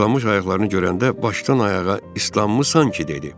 İslanmış ayaqlarını görəndə başdan ayağa islanmısan ki, dedi.